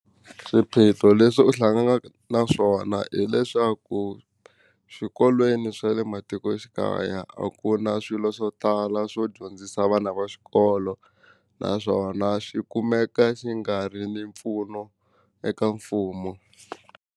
Swiphiqo leswi u hlanganaka na swona hileswaku xikolweni swa le matikoxikaya a ku na swilo swo tala swo dyondzisa vana va xikolo naswona xi kumeka xi nga ri ni mpfuno eka mfumo.